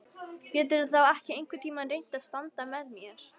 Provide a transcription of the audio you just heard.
Geturðu þá ekki einhvern tíma reynt að standa með mér?